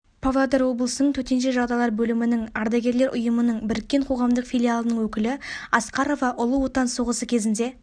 павлодар облысының төтенше жағдайлар бөлімінің ардагерлер ұйымының біріккен қоғамдық филиалының өкілі асқарова ұлы отан соғысы кезінде